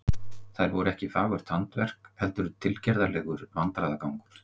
Þær voru ekki fagurt handverk heldur tilgerðarlegur vandræðagangur.